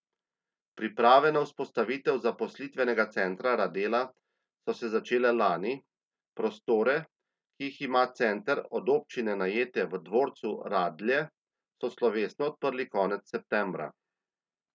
Priprave na vzpostavitev zaposlitvenega centra Radela so se začele lani, prostore, ki jih ima center od občine najete v Dvorcu Radlje, so slovesno odprli konec septembra.